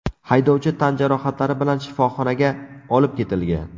Haydovchi tan jarohatlari bilan shifoxonaga olib ketilgan.